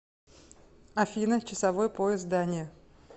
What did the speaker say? афина часовой пояс дания